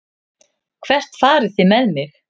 Hvert farið þið með mig?